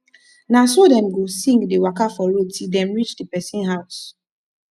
na so dem go sing dey waka for road til dem rich di pesin house